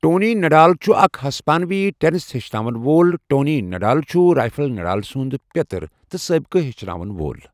Tony Nadal چھُ اَکھ ہِسپٲنوی ٹینِس ہێچھناوُن وول ٹونی نَڈال چھُ رَفایل نَڈال سُنٛد پیٛتٕر تہ سٲبِقہٕ ہێچھناوُن وول